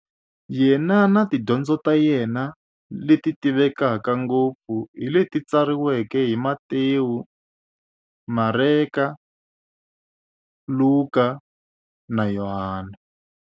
Yena na tidyondzo ta yena, leti tivekaka ngopfu hi leti tsariweke hi-Matewu, Mareka, Luka, na Yohani.